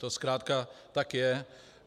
To zkrátka tak je.